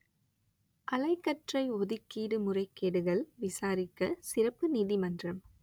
அலைக்கற்றை ஒதுக்கீடு முறைகேடுகள் விசாரிக்க சிறப்பு நீதிமன்றம்